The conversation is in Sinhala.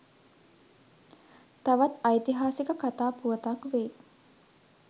තවත් ඓතිහාසික කතා පුවතක් වෙයි.